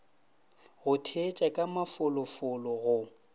go theetša ka mafolofolo go